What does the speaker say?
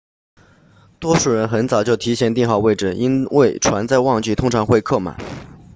多数人很早就提前订好位置因为船在旺季通常会客满